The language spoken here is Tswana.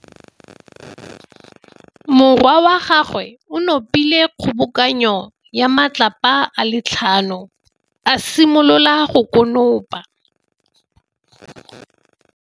Morwa wa gagwe o nopile kgobokanô ya matlapa a le tlhano, a simolola go konopa.